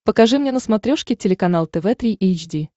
покажи мне на смотрешке телеканал тв три эйч ди